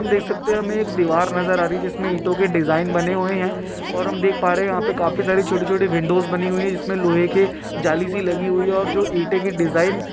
हम देख सकते है हमें एक दीवार नजर आ रही जिसमे ईटों के डिज़ाइन बने हुए हैं और हम देख पा रहे हैं यहाँ पर काफी सारी छोटी-छोटी विंडोज़ बनी हुई हैं जिसमे लोहे के जाली सी लागी हुई हैं और जो ईटे डिज़ाइन --